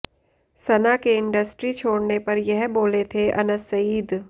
सना के इंडस्ट्री छोड़ने पर यह बोले थे अनस सईद